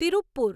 Tiruppur